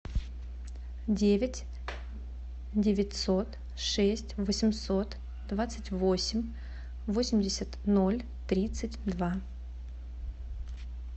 девять девятьсот шесть восемьсот двадцать восемь восемьдесят ноль тридцать два